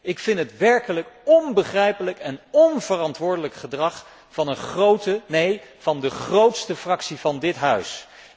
Ik vind het werkelijk onbegrijpelijk en onverantwoordelijk gedrag van een grote, neen, van de grootste fractie van dit Parlement.